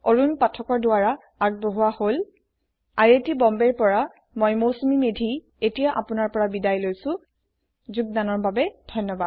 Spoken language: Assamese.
এই পাঠটি অৰুন পাঠকৰ দ্ৱাৰা যোগদান কৰা হৈছে আই আই টী বম্বে ৰ পৰা মই মৌচুমী মেধী এতিয়া আপুনাৰ পৰা বিদায় লৈছো যোগদানৰ বাবে ধন্যবাদ